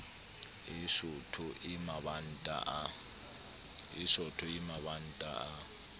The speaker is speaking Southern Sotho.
e sootho e mabanta a